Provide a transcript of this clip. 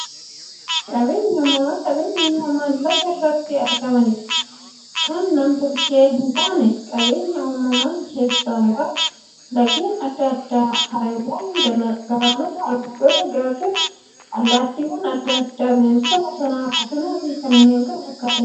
Qaabeenyi uumamaa qabeenya uumamaan lafa irratti argamanii, kan nam-tolchee hintaaneedha. Qabeenya uumamaa keessaa muraasni; laggeen adda addaa, haroowwan, galaanota, albuudota, gaarreen, allattiiwwan adda addaa, bineensota bosonaa, bosonafi kanneen kana fakkataniidha.